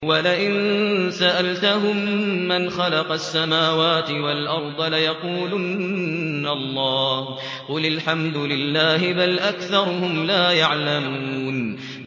وَلَئِن سَأَلْتَهُم مَّنْ خَلَقَ السَّمَاوَاتِ وَالْأَرْضَ لَيَقُولُنَّ اللَّهُ ۚ قُلِ الْحَمْدُ لِلَّهِ ۚ بَلْ أَكْثَرُهُمْ لَا يَعْلَمُونَ